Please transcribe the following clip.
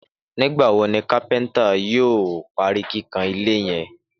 Nígbà wo ni àwọn kápẹ́ntà yóò parí kíkàn ilé yẹn?